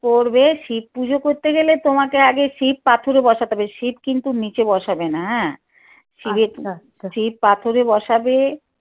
করবে শিব পুজো করতে গেলে তোমাকে আগে শিব পাথরও বসাতে হবে শিব কিন্তু নিচে বসাবে না হ্যাঁ শিব পাথরে বসাবে